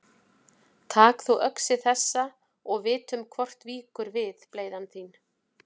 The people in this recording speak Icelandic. Tak þú öxi þessa og vitum hvort víkur við bleyða þín.